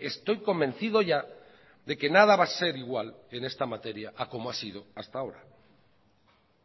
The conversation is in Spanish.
estoy convencido ya de que nada va a ser igual en esta materia a como ha sido hasta ahora